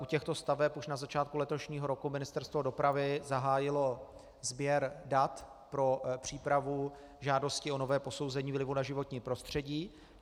U těchto staveb už na začátku letošního roku Ministerstvo dopravy zahájilo sběr dat pro přípravu žádosti o nové posouzení vlivu na životní prostředí.